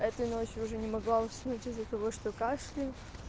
этой ночью уже не могла уснуть из-за того что кашляю